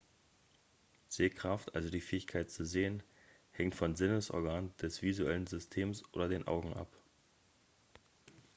sehkraft also die fähigkeit zu sehen hängt von sinnesorganen des visuellen systems oder den augen ab